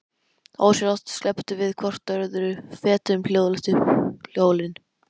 Ósjálfrátt slepptum við hvort öðru og fetuðum hljóðlega upp hólinn.